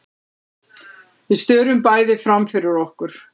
Við störum bæði framfyrir okkur.